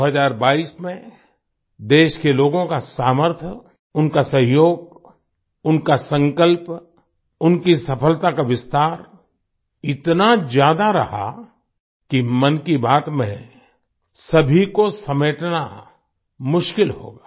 2022 में देश के लोगों का सामर्थ्य उनका सहयोग उनका संकल्प उनकी सफलता का विस्तार इतना ज्यादा रहा कि मन की बात में सभी को समेटना मुश्किल होगा